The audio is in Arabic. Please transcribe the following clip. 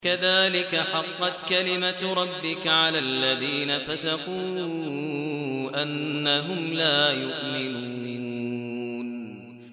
كَذَٰلِكَ حَقَّتْ كَلِمَتُ رَبِّكَ عَلَى الَّذِينَ فَسَقُوا أَنَّهُمْ لَا يُؤْمِنُونَ